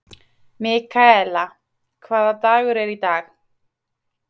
Mikaela, hvaða dagur er í dag?